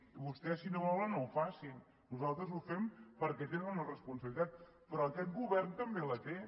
i vostès si no volen no ho facin nosaltres ho fem perquè tenen una responsabilitat però aquest govern també la té